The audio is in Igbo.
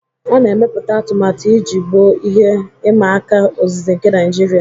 A na-emepụta atụmatụ iji gboo ihe ịma aka ozize nke Naijiria.